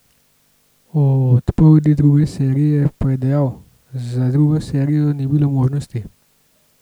O odpovedi druge serije pa je dejal: "Za drugo serijo ni bilo možnosti.